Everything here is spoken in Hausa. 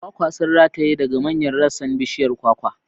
Kwakwa sun rataye daga manyan rassan bishiyar kwakwa.